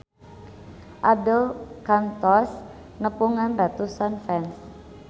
Abdel kantos nepungan ratusan fans